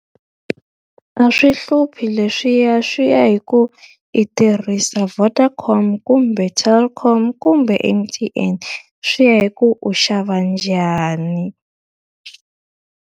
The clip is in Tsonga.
A swi hluphi leswiya swi ya hi ku i tirhisa Vodacom kumbe Telkom kumbe M_T_N. Swi ya hi ku u xava njhani.